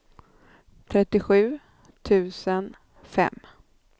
trettiosju tusen fem